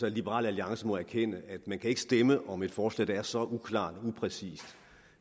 at liberal alliance må erkende at man ikke kan stemme om et forslag der er så uklart og upræcist